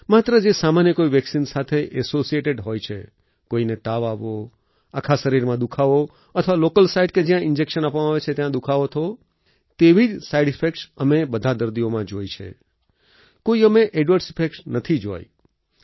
માત્ર જે સામાન્ય કોઈ વેક્સિન સાથે એસોસિએટેડ હોય છે કોઈને તાવ આવવો આખા શરીરમાં દુખાવો અથવા લોકલ સાઇટ જ્યાં ઈન્જેક્શન આપવામાં આવે છે ત્યાં દુખાવો થવો તેવી જ સાઈડ ઈફેક્ટ્સ અમે બધા દર્દીઓમાં જોઈ છે કોઈ અમે એડવર્સ ઇફેક્ટ નથી જોઈ